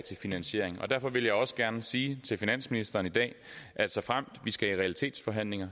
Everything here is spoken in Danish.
til finansiering og derfor vil jeg også gerne sige til finansministeren i dag at såfremt vi skal i realitetsforhandlinger